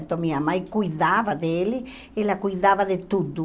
Então minha mãe cuidava dele, ela cuidava de tudo.